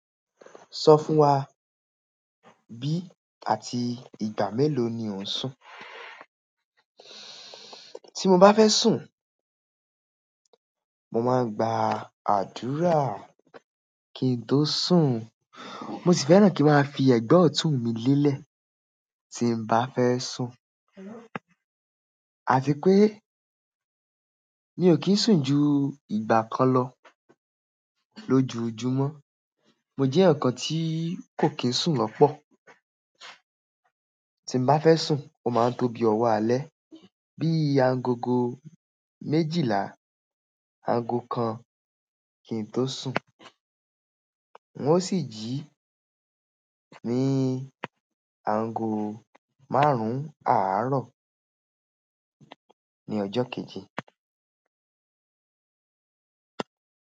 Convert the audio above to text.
Sọ fún wa bí àti ìgbà mélòó ni ò ń sùn. Tí mo bá fẹ́ sùn, mo máa ń gba àdúrà kí n tó sùn. Mo sì fẹ́ràn kí n máa fi ẹ̀gbẹ ọ̀tún mi lélẹ̀ tí n bá fẹ́ sùn. Àfi pé mi ò kì í sùn ju ìgbà kan lọ lójoojúmọ́. Mo jẹ́ èèyàn kan tí kò kí ń sùn lọ́pọ̀. Tí n bá fẹ́ sùn, ó máa ń tóbi ọ̀wọ́ alẹ́. Bí i agogo méjìlá, ago kan kí n tó sùn. Wọ́n o sì jí mi ago márùn-ún àárọ̀ ní ọjọ́ kejì.